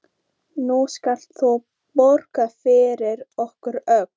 Nú skalt þú borga fyrir okkur öll.